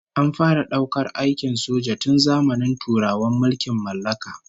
An fara daukar aikin soja tun zamanin turawan mulkin mallaka